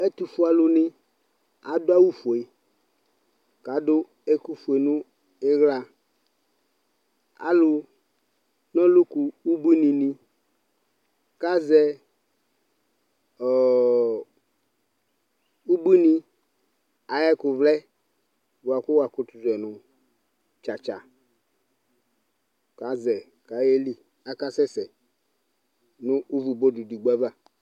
ɛtʊfue alʊnɩ adʊ awu fue, kʊ adʊ ɛkʊ fue nʊ iɣla, dokita nɩ kazɛ ubuinɩ ayʊ ɛkʊ vlɛ kʊ azɔ nʊ ifietso kʊ azɛ yi kʊ ayeli akasɛ sɛ nʊ ʊvʊ edigbo ava